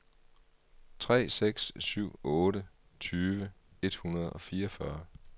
tre seks syv otte tyve et hundrede og fireogfyrre